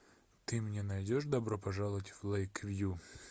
ты мне найдешь добро пожаловать в лэйквью